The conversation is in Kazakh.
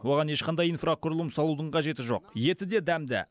оған ешқандай инфрақұрылым салудың қажеті жоқ еті де дәмді